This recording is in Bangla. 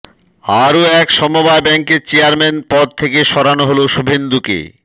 আরও এক সমবায় ব্যাঙ্কের চেয়ারম্যান পদ থেকে সরানো হল শুভেন্দুকে